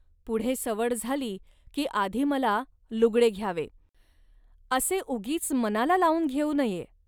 पुढे सवड झाली, की आधी मला लुगडे घ्यावे. असे उगीच मनाला लावून घेऊन नये